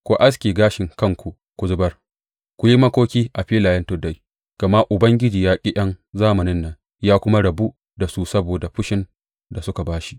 Ku aske gashin kanku ku zubar; ku yi makoki a filayen tuddai, gama Ubangiji ya ƙi ’yan zamanin nan ya kuma rabu da su saboda fushin da suka ba shi.